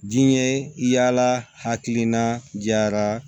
Diɲɛ yaala hakilina jara